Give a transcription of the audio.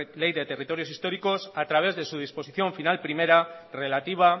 de territorios históricos a través de su disposición final primera relativa